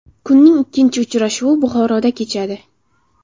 Kunning ikkinchi uchrashuvi Buxoroda kechadi.